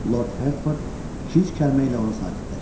Lord Hertford iki-üç kəlmə ilə onu sakitləşdirdi.